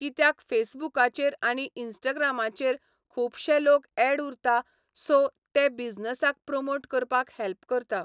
कित्याक फेसबुकाचेर आनी इन्स्टग्रामाचेर खुबशे लोग एड उरता सो ते बिझनसाक प्रोमोट करपाक हॅल्प करता.